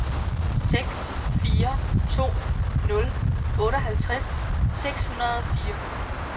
seks fire to nul otteoghalvtreds seks hundrede og fire